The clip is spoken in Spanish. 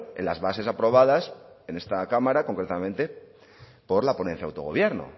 en las bases aprobadas en esta cámara concretamente por la ponencia de autogobierno